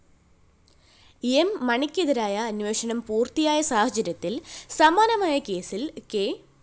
M മാണിക്കെതിരായ അന്വേഷണം പൂര്‍ത്തിയായ സാഹചര്യത്തില്‍ സമാനമായ കേസില്‍ കെ